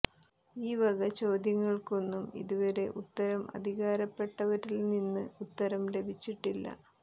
ഈ വക ചോദ്യങ്ങൾക്കൊന്നും ഇതുവരെ ഉത്തരം അധികാരപ്പെട്ടവരിൽ നിന്ന് ഉത്തരം ലഭിച്ചിട്ടില്ല